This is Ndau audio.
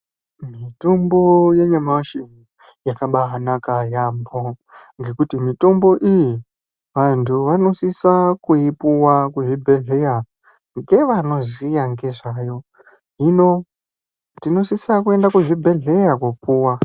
Mitombo yanyamashi yakabanaka yambo ngekuti mitombo iyi vantu vanosisa kuipuwa kuzvibhedhlera ngvanoziya nezvayo hino tinosisa kuenda kuzvibhedhlera kopuwa.